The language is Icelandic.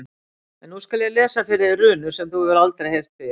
En nú skal ég lesa fyrir þig runur sem þú hefur aldrei heyrt fyrr.